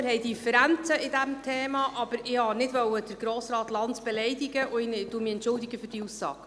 Wir haben Differenzen zu diesem Thema, aber ich wollte Grossrat Lanz nicht beleidigen und entschuldige mich für diese Aussage.